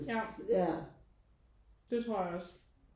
Ja det tror jeg også